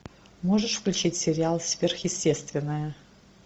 можешь включить сериал сверхъестественное